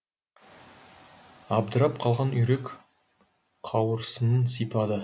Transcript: абдырап қалған үйрек қауырсынын сипады